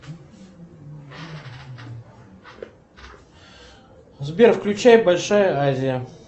сбер включай большая азия